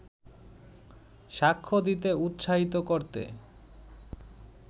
সাক্ষ্য দিতে উৎসাহিত করতে